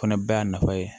O fana bɛɛ y'a nafa ye